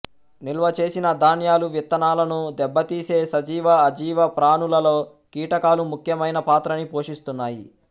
నిల్వ చేసిన ధాన్యాలువిత్తనాలను దెబ్బతీసే సజీవ అజీవ ప్రాణులలలో కీటకాలు ముఖ్యమైన పాత్రని పోషిస్తున్నాయి